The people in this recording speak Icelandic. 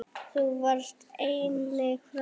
Þú varst einnig frábær kokkur.